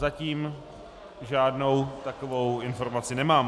Zatím žádnou takovou informaci nemám.